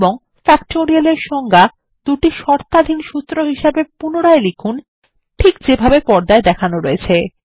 এবং factorial এর সংজ্ঞা দুটি শর্তাধীন সূত্র হিসেবে পুনরায় লিখুন ঠিক যেভাবে পর্দায় দেখানো রয়েছে